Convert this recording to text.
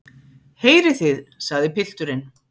Heyrið þið, sagði pilturinn.